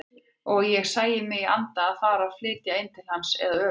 Og ég sæi mig í anda fara að flytja inn til hans eða öfugt.